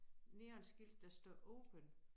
Neonskilt der står open